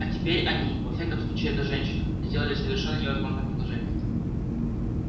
а теперь они во всяком случае эта женщина сделали совершенно невозможное предложение